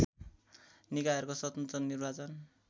निकायहरूको स्वतन्त्र निर्वाचन